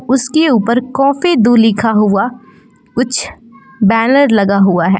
उसके ऊपर काफी दूं लिखा हुआ कुछ बैनर लगा हुआ है।